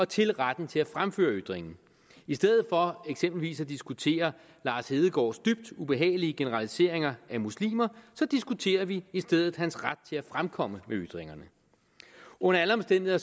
til retten til at fremføre ytringen i stedet for eksempelvis at diskutere lars hedegaards dybt ubehagelige generaliseringer af muslimer diskuterer vi i stedet hans ret til at fremkomme med ytringerne under alle omstændigheder